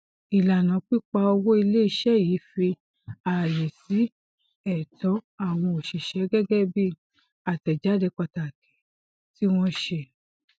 ilana pípa owó iléiṣẹ yìí fi ààyè sí ẹtọ àwọn oṣiṣẹ gẹgẹ bí àtẹjáde pataki tí wọn ṣe